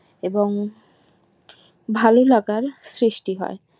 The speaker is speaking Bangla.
এবং ভালো লাগার সৃষ্টি হয়